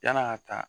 Yann'a ka taa